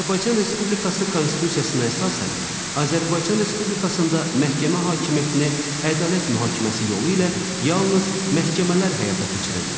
Azərbaycan Respublikası Konstitusiyasına əsasən, Azərbaycan Respublikasında məhkəmə hakimiyyətini ədalət mühakiməsi yolu ilə yalnız məhkəmələr həyata keçirirlər.